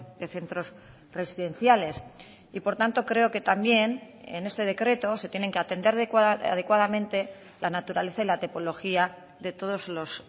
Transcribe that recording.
de centros residenciales y por tanto creo que también en este decreto se tienen que atender adecuadamente la naturaleza y la tipología de todos los